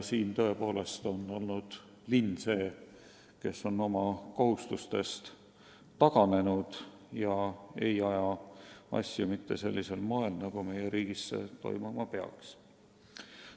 Linn on tõepoolest oma kohustustest taganenud ega aja asju sellisel moel, nagu see meie riigis toimuma peaks.